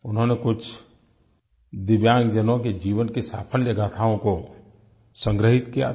उन्होंने कुछ दिव्यांगजनों के जीवन की सफल गाथाओं को संग्रहित किया था